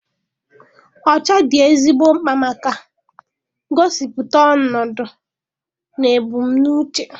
Ọcha dị ezigbo mkpa maka gosipụta ọnọdụ na ebu m n'uche.